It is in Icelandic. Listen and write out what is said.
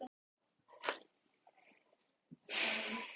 Jóhanna Margrét Gísladóttir: Er þetta betra en síðasti samningur?